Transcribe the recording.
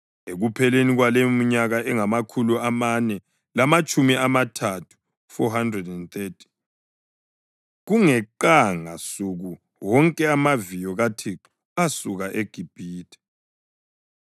Ekupheleni kwaleyominyaka engamakhulu amane lamatshumi amathathu (430) kungeqanga suku wonke amaviyo kaThixo asuka eGibhithe.